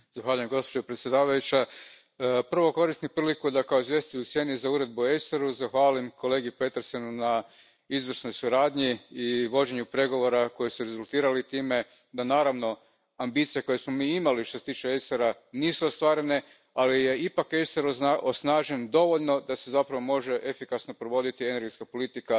Poštovana predsjedavajuća, prvo koristim priliku da kao izvjestitelj u sjeni za Uredbu o ACER u zahvalim kolegi Petersenu na izvrsnoj suradnji i vođenju pregovora koji su rezultirali time da, naravno, ambicije koje smo mi imali što se tiče ACER a, nisu ostvarene, ali je ipak ACER osnažen dovoljno da se zapravo može efikasno provoditi energetska politika